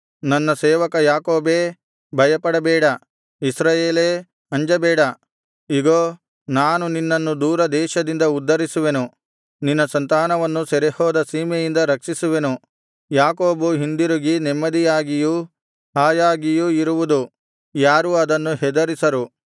ನನ್ನ ಸೇವಕ ಯಾಕೋಬೇ ಭಯಪಡಬೇಡ ಇಸ್ರಾಯೇಲೇ ಅಂಜಬೇಡ ಇಗೋ ನಾನು ನಿನ್ನನ್ನು ದೂರದೇಶದಿಂದ ಉದ್ಧರಿಸುವೆನು ನಿನ್ನ ಸಂತಾನವನ್ನು ಸೆರೆಹೋದ ಸೀಮೆಯಿಂದ ರಕ್ಷಿಸುವೆನು ಯಾಕೋಬು ಹಿಂದಿರುಗಿ ನೆಮ್ಮದಿಯಾಗಿಯೂ ಹಾಯಾಗಿಯೂ ಇರುವುದು ಯಾರೂ ಅದನ್ನು ಹೆದರಿಸರು